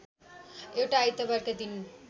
एउटा आइतबारका दिन